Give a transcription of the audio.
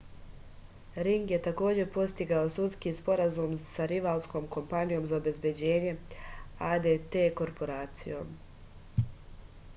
ring je takođe postigao sudski sporazum sa rivalskom kompanijom za obezbeđenje adt korporacijom